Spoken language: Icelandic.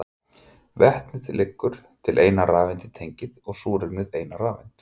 Vetnið leggur til eina rafeind í tengið og súrefnið eina rafeind.